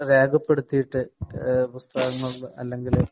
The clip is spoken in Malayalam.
രേഖപ്പെടുത്തീട്ടു പുസ്തകങ്ങള്‍ അല്ലെങ്കില്‍